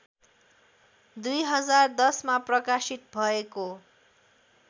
२०१०मा प्रकाशित भएको